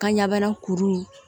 Ka ɲɛbana kuru in